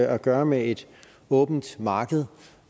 at gøre med et åbent marked